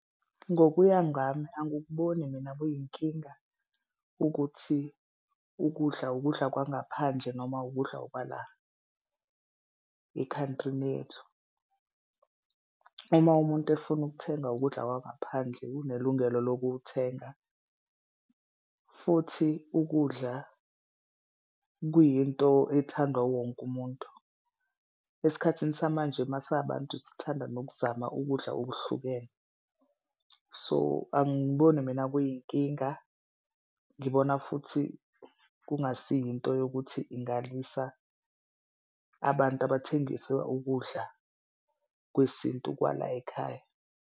Ngokuya ngami, angikuboni mina kuyinkinga ukuthi ukudla ukudla kwangaphandle noma ukudla okwa la ekhawuntrini yethu. Uma umuntu efuna ukuthenga ukudla kwangaphandle unelungelo lokuwuthenga futhi ukudla kuyinto ethandwa wu wonke umuntu. Esikhathini samanje masi abantu sithanda nokuzama ukudla okuhlukene so angiboni mina kuyinkinga, ngibona futhi kungasi yinto yokuthi ingalwisa abantu abathengisa ukudla kwesintu kwala ekhaya.